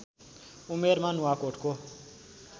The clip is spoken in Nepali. उमेरमा नुवाकोटको